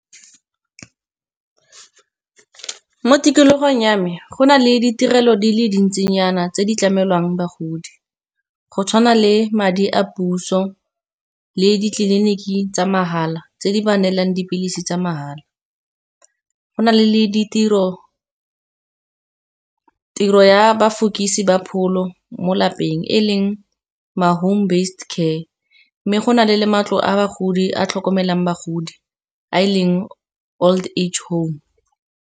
Mo tikologong ya me go na le ditirelo di le dintsinyana tse di tlamelwang bagodi. Go tshwana le madi a puso le ditleliniki tsa mahala, tse di ba neelang dipilisi tsa mahala. Go na le tiro ya bafokisi ba pholo mo lapeng, e leng ma home based care. Mme go na le matlo a bagodi a tlhokomelang bagodi a e leng old age home.